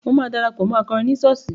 Mo máa darapọ̀ mọ́ akọrin ní ṣọ́ọ̀ṣì.